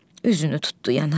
Üzünü tutdu yana.